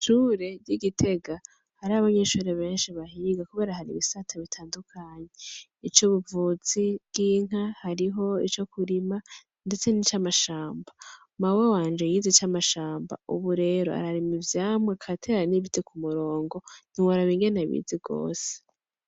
Ishure ry'i Gitega hari abanyeshuri benshi bahiga kubera hari ibisata bitandukanye, ic'ubuvuzi bw'inka, hariho ico kurima ndetse nic'amashamba, mawe wanje yize ic'amashamba ubu rero ararima ivyamwa agatera n'ibiti ku murongo ntiworaba ingene abizi gose.